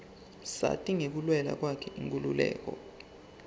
sati ngekulwela kwakhe inkhululeko